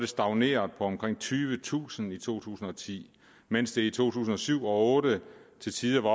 stagneret på omkring tyvetusind i to tusind og ti mens det i to tusind og syv og otte til tider var